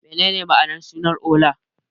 Menene ma'anar suna Ola?